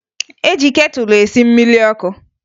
E ji ketụlụ esi mmiri ọkụ